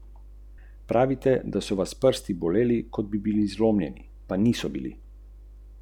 Po podatkih policije je pogorelo med štiri in pet hektarjev podrasti v gozdu.